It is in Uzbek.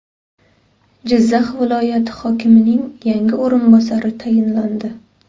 Jizzax viloyati hokimining yangi o‘rinbosari tayinlandi.